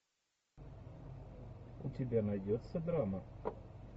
у тебя найдется драма